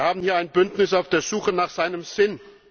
Wir haben hier ein Bündnis auf der Suche nach seinem Sinn.